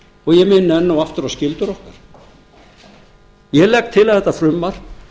og ég minni enn og aftur á skyldur okkar ég legg til að þetta frumvarp